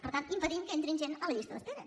per tant impedint que entri gent a la llista d’espera